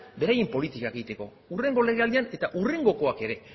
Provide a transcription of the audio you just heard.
beraien politikak egiteko hurrengo legealdian eta hurrengokoak ere